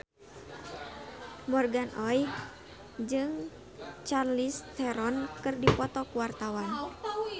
Morgan Oey jeung Charlize Theron keur dipoto ku wartawan